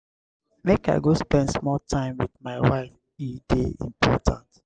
make i go spend small time wit my wife e dey important.